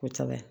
Ko caman ye